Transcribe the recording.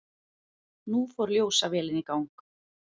Nú fór ljósavélin í gang.